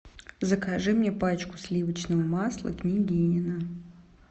закажи мне пачку сливочного масла княгинино